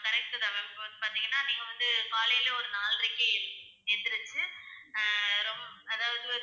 correct தான் ma'am இப்போ வந்து பாத்தீங்கன்னா நீங்க வந்து காலைல ஒரு நாலரைக்கு எந்த்~எழுந்துருச்சு ஆஹ் ரொம்~ அதாவது வந்து